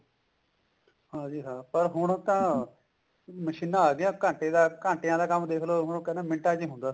ਹਾਂਜੀ ਹਾਂ ਪਰ ਹੁਣ ਤਾਂ ਮਸ਼ੀਨਾ ਆਗੀਆਂ ਘੰਟੇ ਦਾ ਘੰਟਿਆ ਦਾ ਕੰਮ ਮਿੰਟਾਂ ਵਿੱਚ ਹੁੰਦਾ